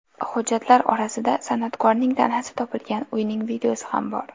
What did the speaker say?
Hujjatlar orasida san’atkorning tanasi topilgan uyning videosi ham bor.